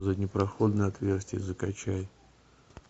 заднепроходное отверстие закачай